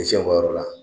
yɔrɔ la